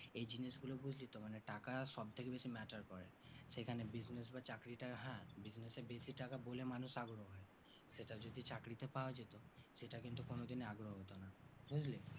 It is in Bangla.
এই জিনিস গুলি বুজলিতো মানে টাকা সব থেকে বেশি matter করে সেখানে business বা চাকরিটা হ্যাঁ business এ বেশি টাকা বলে মানুষ আগ্রহ সেটা যদি চাকরিতে পাওয়া যেত সেটা কিন্তু কোনো দিনই আগ্রহ হতো না বুজলি